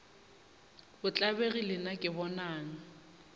o tlabegile na ke bonang